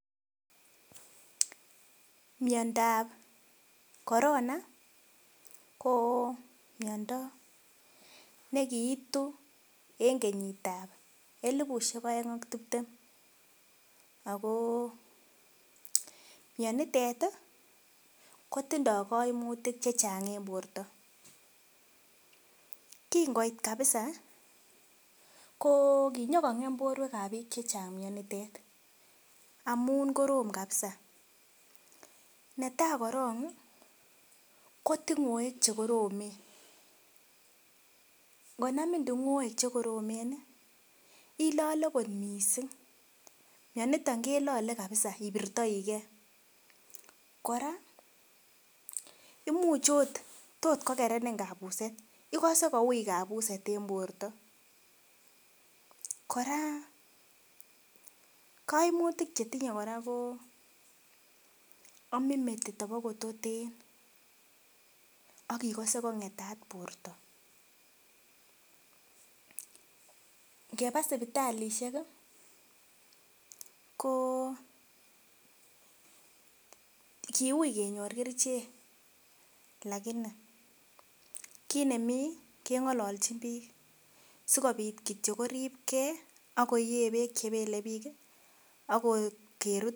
Miondab korona ko miondo nekiitu en kenyit ab elipusiek oeng ak tiptem ako mionitet ih kotindoo koimutik koimutik chechang en borto. Kin koit kabisa ko kinyokong'em sobonwek ab biik chechang mionitet amun korom kabisa netaa korong ih ko tung'oek chekoromen, ngonamin tung'oek chekoromen ih ilole kot missing, mioniton ilole kabisa ibirtoigee kora imuche ot tot kokerenin kabuset ikose kouui kabuset en borto. Kora koimutik chetinye kora ko omin metit kototen ak ikose kong'etat borto. Ngeba sipitalisiek ih ko kiuui kenyor kerichek lakini kit nemii keng'ololji biik sikobit kityo koripgee ako yee beek chebele biik ih ak kerut